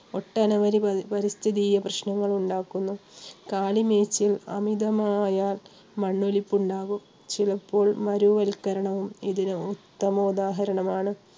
ഒട്ടനവധി പരി~പാരിസ്ഥിതിക പ്രശ്നങ്ങളും ഉണ്ടാക്കുന്നു. കാലിമേയ്ച്ചു അമിതമായ മണ്ണൊലിപ്പ് ഉണ്ടാകും ചിലപ്പോൾ മരൂവൽക്കരണവും ഇതിനു ഉത്തമ ഉദാഹരണമാണ്.